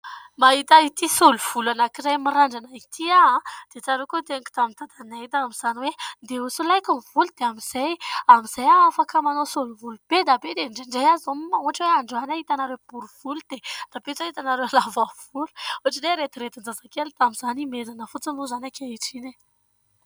Mahita ity solovolo anankiray mirandrana ity aho, dia tsaroko ny teniko tamin'i dadanay tamin'izany hoe : "andeha ho solaiko ny volo dia amin'izay aho afaka manao solovolo be dia be, dia indraindray aho izao ohatra androany aho hitanareo borivolo dia rahampitso aho hitanareo lavavolo" . Ohatrin'ny hoe rediredin - jazakely. Ihomezana fotsiny moa izany ankehitriny;